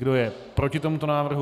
Kdo je proti tomuto návrhu?